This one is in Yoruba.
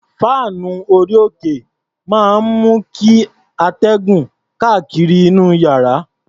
Fáànù orí-òkè máa ń mú kí atẹ́gùn kárí inú iyàrá.